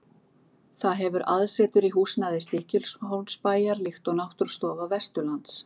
Það hefur aðsetur í húsnæði Stykkishólmsbæjar, líkt og Náttúrustofa Vesturlands.